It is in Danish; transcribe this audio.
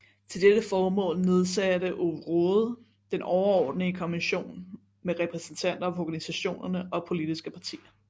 Til dette formål nedsatte Ove Rode Den Overordentlige Kommission med repræsentanter fra organisationerne og politiske partier